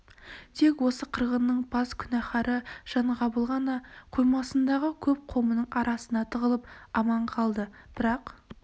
тек осы қырғынның бас күнәкары жаң- ғабыл ғана қоймасындағы көп қомының арасына тығылып аман қалды бірақ